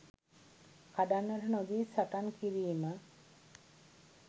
කඩන්නට නොදී සටන් කිරීම.